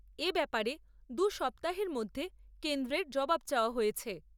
এ ব্যাপারে দু সপ্তাহের মধ্যে কেন্দ্রের জবাব চাওয়া হয়েছে।